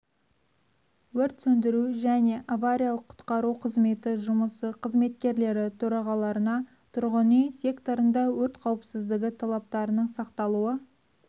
өрт сөндіру және авариялық-құтқару қызметі жұмысы қызметкерлері төрағаларына тұрғын үй секторында өрт қауіпсіздігі талаптарының сақталуы